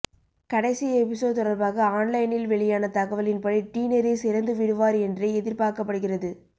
கடைசி எபிசோட் தொடர்பாக ஆன்லைனில் வெளியான தகவலின்படி டினெரிஸ் இறந்து விடுவார் என்றே எதிர்ப்பார்க்கப்படுகிறது